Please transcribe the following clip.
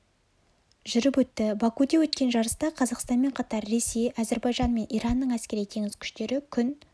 жүріп өтті бакуде өткен жарыста қазақстанмен қатар ресей әзірбайжан мен иранның әскери теңіз күштері күн